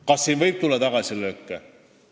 Kas siin võib tulla tagasilööke?